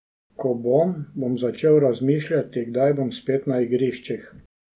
Ko bom, bom začel razmišljati, kdaj bom spet na igriščih.